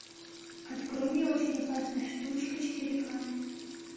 открой мне очень опасная штучка четыре ка